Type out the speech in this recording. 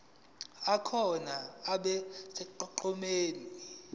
akhona abe sonqenqemeni